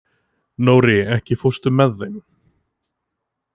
Nóri, ekki fórstu með þeim?